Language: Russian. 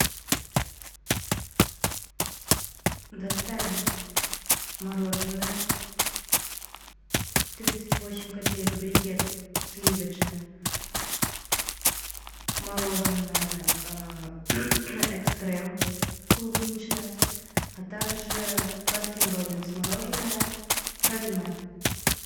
доставить мороженое тридцать восемь копеек брикет сливочное мороженое экстрем клубничное а также баскин роббинс мороженое пролиме